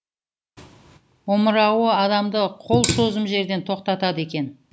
омырауы адамды қол созым жерден тоқтатады екен